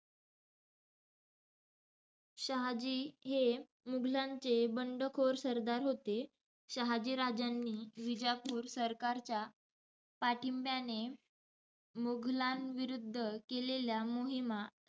शहाजी हे मुघलांचे बंडखोर सरदार होते. शहाजीराजांनी विजापूर सरकारच्या पाठिंब्याने मुघलांविरुद्ध केलेल्या मोहिमा,